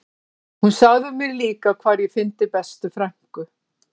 Hún sagði mér líka hvar ég fyndi bestu frænku